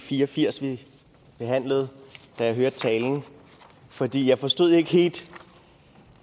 fire og firs vi behandlede da jeg hørte talen fordi jeg forstod ikke helt